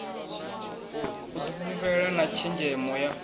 u difhulufhela na tshenzhemo ya